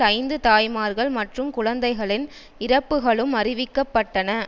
ஐந்து தாய்மார்கள் மற்றும் குழந்தைகளின் இறப்புக்களும் அறிவிக்க பட்டன